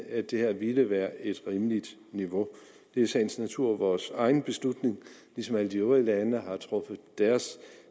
at det her ville være et rimeligt niveau det er i sagens natur vores egen beslutning ligesom alle de øvrige lande har truffet deres